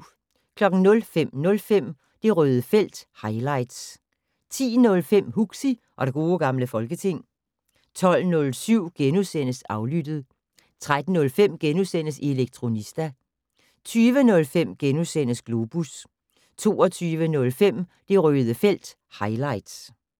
05:05: Det Røde felt - highlights 10:05: Huxi og det gode gamle folketing 12:07: Aflyttet * 13:05: Elektronista * 20:05: Globus * 22:05: Det Røde felt - highlights